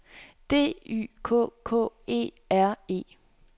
D Y K K E R E